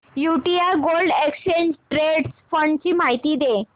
UTI gold exchange traded fund ची माहिती दे